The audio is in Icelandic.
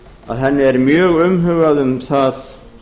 að henni er mjög umhugað um það